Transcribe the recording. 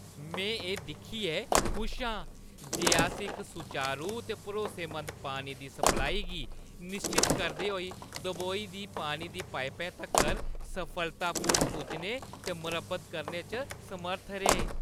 में एह् दिक्खियै खुश आं जे अस इक सुचारू ते भरोसेमंद पानी दी सप्लाई गी निश्चत करदे होई दबोई दी पानी दी पाइपा तगर सफलतापूर्वक पुज्जने ते मरम्मत करने च समर्थ रेह्।